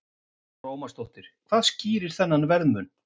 Lára Ómarsdóttir: Hvað skýrir þennan verðmun?